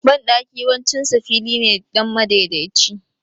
Banɗaki yawancin sa fili ne dan madaidaici